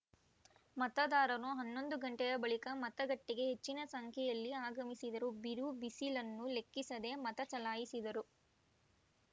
ಮತದಾರರು ಹನ್ನೊಂದು ಗಂಟೆಯ ಬಳಿಕ ಮತಗಟ್ಟೆಗೆ ಹೆಚ್ಚಿನ ಸಂಖ್ಯೆಯಲ್ಲಿ ಆಗಮಿಸಿದರು ಬಿರುಬಿಸಿಲನ್ನು ಲೆಕ್ಕಿಸದೆ ಮತ ಚಲಾಯಿಸಿದರು